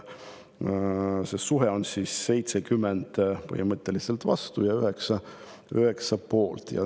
See suhe on 70 põhimõtteliselt vastu ja 9 poolt.